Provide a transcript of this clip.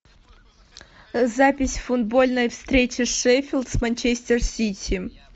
запись футбольной встречи шеффилд с манчестер сити